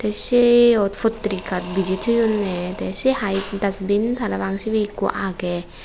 seyot potrikat bije toyonne tay sey hai dustbin parapang sibe ikko agey.